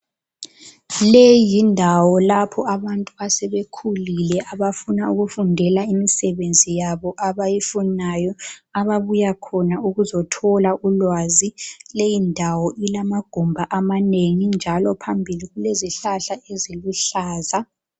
Leyi yindawo lapho abantu asebekhulile abafuna ukufundela imisebenzi yabo abayifunayo ababuya khona ukuzothola ulwazi. Lyindawo ilamagumbi amanengi njalo phambili kulezihlahla eziluhlaza.